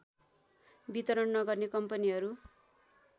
वितरण नगर्ने कम्पनीहरू